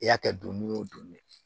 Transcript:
I y'a kɛ don min o don ne